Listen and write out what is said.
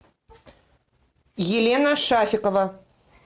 елена шафикова